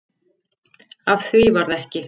Af því varð ekki